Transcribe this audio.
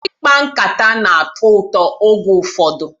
Ikpa nkataka na-atọ ụtọ oge ụfọdụ